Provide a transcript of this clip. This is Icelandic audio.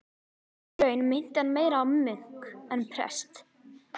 Í raun minnti hann meira á munk en prest.